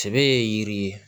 Sɛbɛ ye yiri ye